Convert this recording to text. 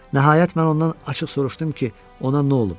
Nəhayət mən ondan açıq soruşdum ki, ona nə olub.